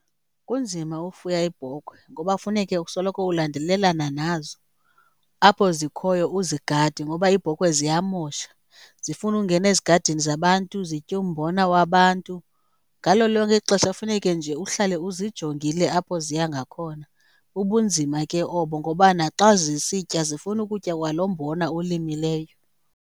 Kunzima ufuya iibhokhwe ngoba funeke usoloko ulandelelana nazo, apho zikhoyo uzigade ngoba iibhokhwe ziyamosha zifuna ungena ezigadini zabantu zitye umbona wabantu. Ngalo lonke ixesha funeke nje uhlale uzijongile apho ziya ngakhona. Bubunzima ke obo ngoba naxa zisitya zifuna ukutya kwalo mbona uwulimileyo.